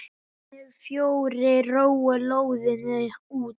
Hinir fjórir róa lóðina út.